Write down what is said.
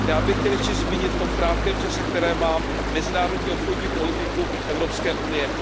Já bych chtěl ještě zmínit v tom krátkém čase, který mám, mezinárodní obchodní politiku Evropské unie.